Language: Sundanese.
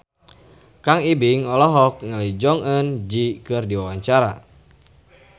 Kang Ibing olohok ningali Jong Eun Ji keur diwawancara